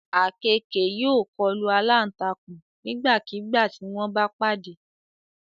Àkekèé yóò kọlu alántakùn nígbàkigbà tí wọ́n bá pàdé